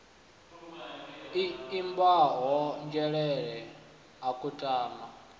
i ambiwaho nzhelele ha kutama